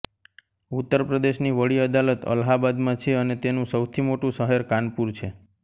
ઉત્તર પ્રદેશની વડી અદાલત અલ્હાબાદમાં છે અને તેનું સૌથી મોટું શહેર કાનપુર છે